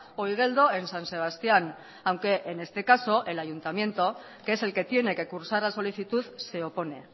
o igeldo en san sebastián aunque en este caso el ayuntamiento que es el que tiene que cursar la solicitud se opone